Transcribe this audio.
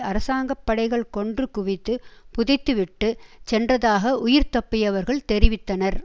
அரசாங்க படைகள் கொன்று குவித்து புதைத்துவிட்டு சென்றதாக உயிர் தப்பியவர்கள் தெரிவித்தனர்